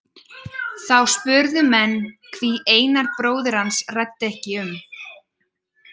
Þá spurðu menn hví Einar bróðir hans ræddi ekki um.